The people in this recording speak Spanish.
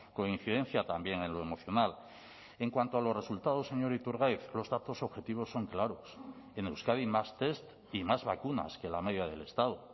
coincidencia también en lo emocional en cuanto a los resultados señor iturgaiz los datos objetivos son claros en euskadi más test y más vacunas que la media del estado